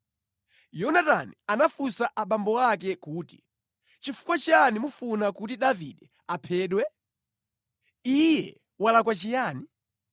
Yonatani anafunsa abambo ake kuti, “Nʼchifukwa chiyani mufuna kuti Davide aphedwe? Iye walakwa chiyani?”